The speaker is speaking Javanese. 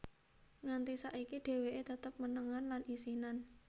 Nganti saiki dheweké tetep menengan lan isinan